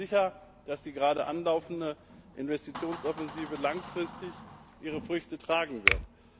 Ich bin mir sicher, dass die gerade anlaufende Investitionsoffensive langfristig ihre Früchte tragen wird.